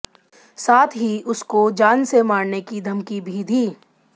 साथ ही उसको जान से मारने की धमकी भी दी